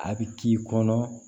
A bɛ k'i kɔnɔ